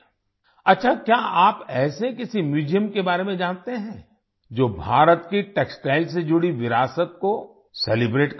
अच्छा क्या आप ऐसे किसी म्यूजियम के बारे में जानते हैं जो भारत की टेक्सटाइल से जुड़ी विरासत को सेलिब्रेट करता है